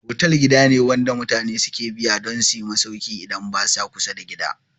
Fotel gida ne wanda mutane suke biya dun suyi masauki idan basa kusa da gida